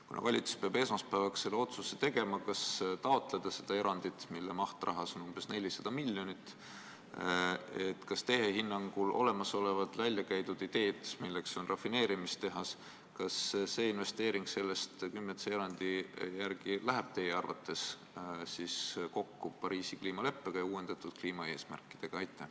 Kuna valitsus peab esmaspäevaks tegema otsuse, kas taotleda seda erandit, mille rahaline maht on umbes 400 miljonit, siis kas teie hinnangul läheb olemasolevatesse, väljakäidud ideedesse investeerimine, milleks on rafineerimistehase rajamine, artikli 10c erandi järgi kokku Pariisi kliimaleppega ja uuendatud kliimaeesmärkidega?